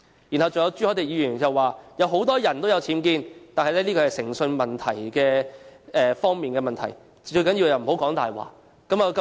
然後，還有朱凱廸議員指出很多人都有僭建，但這是誠信問題，最重要是不說謊。